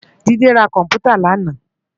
Jide rá kòmpútá làná